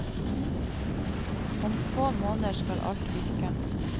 Om få måneder skal alt virke.